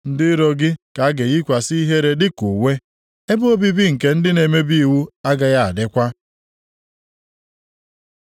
Ndị iro gị ka a ga-eyikwasị ihere dị ka uwe, ebe obibi nke ndị na-emebi iwu agaghị adịkwa.”